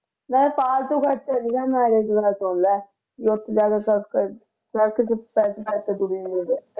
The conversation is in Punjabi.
ਵੇਹੇ ਫਾਲਤੂ ਖਰਚਾ ਨੀ ਕਰਨਾ ਮੇਰੀ ਇਕ ਗੱਲ ਸੁਨ ਲੈ ਰੋਟੀ ਦਾ ਪੈਸੇ ਕਟਦੇ ਓਹਨੇ